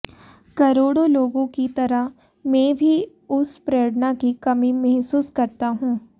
करोड़ों लोगों की तरह मैं भी उस प्रेरणा की कमी मेहसूस करता हूं